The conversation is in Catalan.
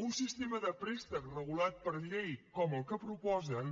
un sistema de préstec regulat per llei com el que proposen